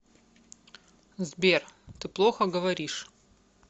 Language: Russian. сбер ты плохо говоришь